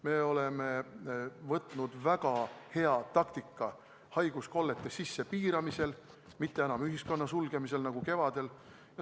Me oleme võtnud väga hea taktika: haiguskollete sissepiiramine, mitte enam ühiskonna sulgemine nagu kevadel.